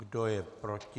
Kdo je proti?